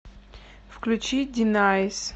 включи динайс